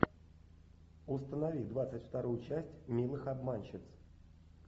установи двадцать вторую часть милых обманщиц